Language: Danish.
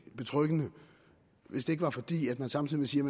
betryggende hvis det ikke var fordi man samtidig siger